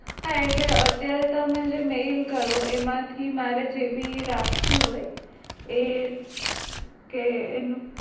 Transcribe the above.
હા એટલે અત્યારે તમે જે mail કરો એમાં થી મારે જે કઈ રાખવું હોય એ જે